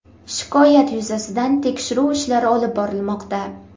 Shikoyat yuzasidan tekshiruv ishlari olib borilmoqda.